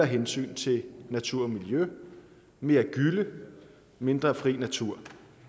hensynet til natur og miljø mere gylle mindre fri natur